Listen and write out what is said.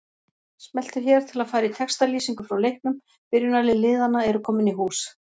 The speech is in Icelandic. Smelltu hér til að fara í textalýsingu frá leiknum Byrjunarlið liðanna eru komin í hús.